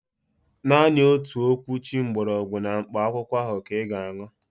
Naanị otu okwuchi gbọrọgwụ na mkpa akwụkwọ ahụ ka ị ga-aṅụ